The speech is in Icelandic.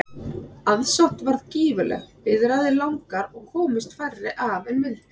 Aðsókn varð gífurleg, biðraðir langar og komust færri að en vildu.